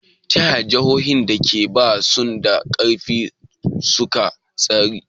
Ta yaya jihohin da ba su da ƙarfi suka tsira?